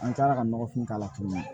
An taara ka nɔgɔfin k'a la tuguni